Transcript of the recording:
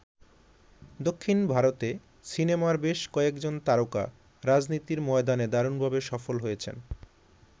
দক্ষিণ ভারতে সিনেমার বেশ কয়েকজন তারকা রাজনীতির ময়দানে দারুণভাবে সফল হয়েছেন।